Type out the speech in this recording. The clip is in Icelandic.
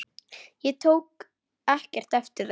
Ég tók ekkert eftir þeim.